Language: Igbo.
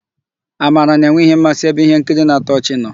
Amara na-enwe mmasị ebe íhénkiri na-atọ ọchị nọ.